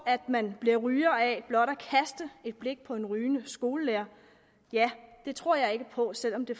at man bliver ryger af blot at kaste et blik på en rygende skolelærer tror jeg ikke på selv om det